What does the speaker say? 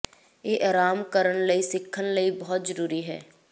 ਇਹ ਆਰਾਮ ਕਰਨ ਲਈ ਸਿੱਖਣ ਲਈ ਬਹੁਤ ਜ਼ਰੂਰੀ ਹੈ